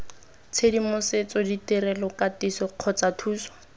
tshedimosetso ditirelo katiso kgotsa thuso